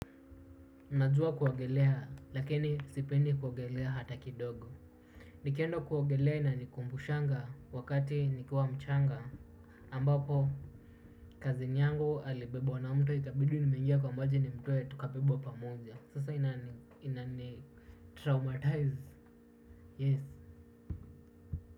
Najua kuogelea lakini sipendi kuogelea hata kidogo. Nikienda kuogelea inanikumbushanga wakati nikiwa mchanga ambapo cousin yangu alibebwa na mto ikabidi nimeingia kwa maji nimtoe tukabebwa pamoja. Sasa inanitraumatize yes.